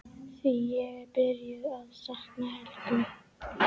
Því ég er byrjuð að sakna Helga.